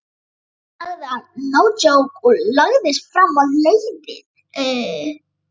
sagði hann og lagðist fram á leiðið.